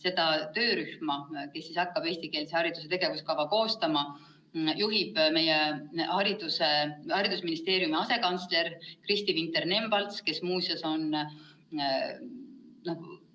Seda töörühma, kes hakkab eestikeelse hariduse tegevuskava koostama, juhib meie haridusministeeriumi asekantsler Kristi Vinter-Nemvalts, kes muuseas on